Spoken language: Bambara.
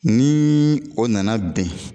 Nii o nana bɛn